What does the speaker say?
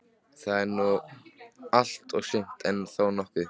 Það er nú allt og sumt, en þó nokkuð.